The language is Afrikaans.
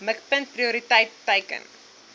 mikpunt prioriteit teiken